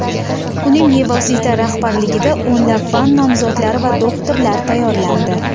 Uning bevosita rahbarligida o‘nlab fan nomzodlari va doktorlari tayyorlandi.